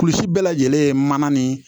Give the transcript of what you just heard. Kulisi bɛɛ lajɛlen ye mana nin